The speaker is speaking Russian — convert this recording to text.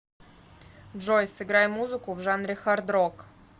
джой сыграй музыку в жанре хард рок